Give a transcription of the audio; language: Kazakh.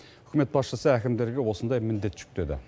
үкімет басшысы әкімдерге осындай міндет жүктеді